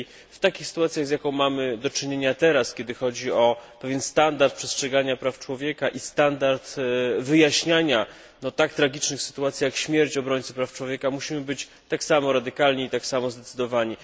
W takich sytuacjach, z jaką teraz mamy do czynienia, kiedy chodzi o pewien standard przestrzegania praw człowieka i standard wyjaśniania tak tragicznych sytuacji, jak śmierć obrońcy praw człowieka, musimy być tak samo radykalni i tak samo zdecydowani.